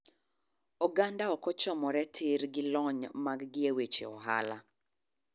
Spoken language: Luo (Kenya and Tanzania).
Oganda ok ochomore tir gi lony mag gi e weche ohala.